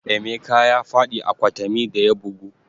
Emeka ya faɗi a kwatami da ya bugu